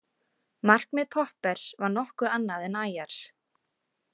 Markmið Poppers var nokkuð annað en Ayers.